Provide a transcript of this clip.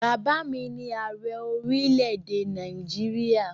Bàbá mi ni Ààrẹ orílẹ̀èdè Nàìjíríà